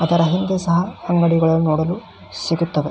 ಅದರ ಹಿಂದೆ ಸಹ ಅಂಗಡಿಗಳು ನೋಡಲು ಸಿಗುತ್ತವೆ.